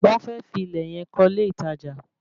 Wọ́n fẹ́ fi ilẹ̀ yẹn kọ́ ilé ìtajà